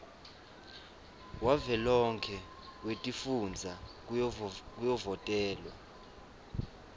wavelonkhe wetifundza kuyovotelwa